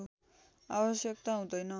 आवश्यकता हुँदैन